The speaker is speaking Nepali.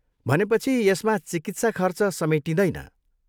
भनेपछि यसमा चिकित्सा खर्च समेटिँदैन?